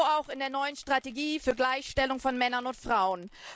So auch in der neuen Strategie für Gleichstellung von Männern und Frauen.